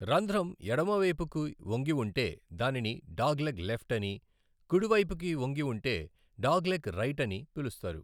రంధ్రం ఎడమవైపుకు వంగి ఉంటే దానిని 'డాగ్లెగ్ లెఫ్ట్' అని, కుడివైపుకు వంగి ఉంటే 'డాగ్లెగ్ రైట్' అని పిలుస్తారు.